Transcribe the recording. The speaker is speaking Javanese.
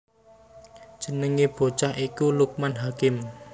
Jenengé bocah iku Lukman Hakim